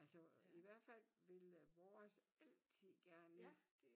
Altså i hvert fald vil vores altid gerne ind